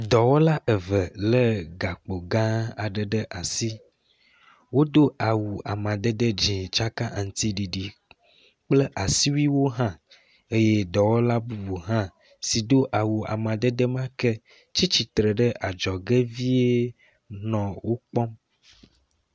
Dɔwɔla eve le gakpo gã aɖe ɖe asi. Wodo awu amadede dzi tsaka amadede dzi kple asiwuiwo h eye dɔwɔla bubu hã si do awu amadede ma ke tsi tsitre ɖe adzɔge vie nɔ wo kpɔm.